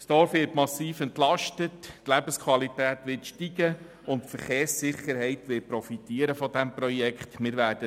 Das Dorf wird massiv entlastet, die Lebensqualität wird steigen, und auch die Verkehrssicherheit wird von diesem Projekt profitieren.